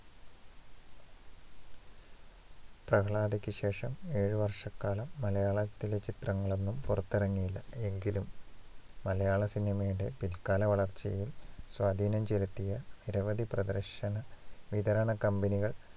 പ്രഹ്ലാദയ്ക്കു ശേഷം ഏഴു വർഷക്കാലം മലയാളത്തിൽ ചിത്രങ്ങളൊന്നും പുറത്തിറങ്ങിയില്ല. എങ്കിലും, മലയാള സിനിമയുടെ പില്ക്കാല വളർച്ചയിൽ സ്വാധീനം ചെലുത്തിയ നിരവധി പ്രദർശന വിതരണ company കള്‍